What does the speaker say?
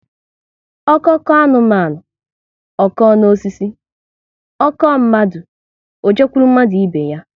Ọko koo anụmanụ, ọ kọọ n'osisi, ọ kọọ mmadụ, ọ jekwuru mmadụ ibe ya